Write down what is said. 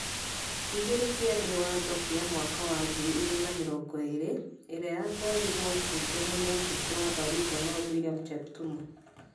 ... igĩrĩ , kĩambĩ watho kĩa mwaka wa ngiri igĩrĩ na mĩrongo eerĩ, ĩrĩa yatwarirwombunge nĩ mũmbunge wa Baringo North William Cheptumo.